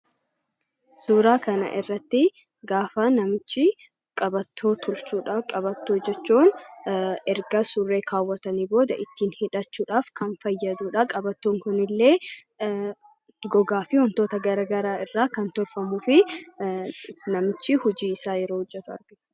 Suuraa kanarratti gaafa namichi qabattoo tolchudha. Qabattoo jechuun erga surree kaawwatani booda ittin hidhachuudhaf kan fayyadudha. qabattoon kun illee gogaa fi wantoota garagaraa irraa kan tolfamuu fi namichi hojii isaa yeroo hojjetaa jirudha.